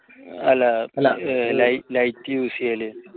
അല്ല അല്ല light use ചെയ്യല്